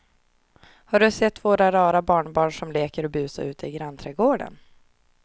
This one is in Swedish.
Har du sett våra rara barnbarn som leker och busar ute i grannträdgården!